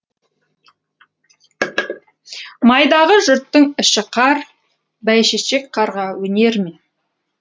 майдағы жұрттың іші қар бәйшешек қарға өнер ме